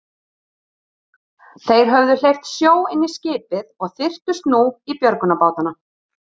Þeir höfðu hleypt sjó inn í skipið og þyrptust nú í björgunarbátana.